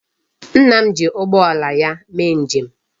Nna m ji ụgbọala ya mee nje m.